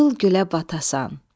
Qızıl gülə batasan.